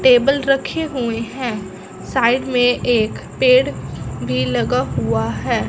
Table रखे हुए हैं। साइड में एक पेड़ भी लगा हुआ है।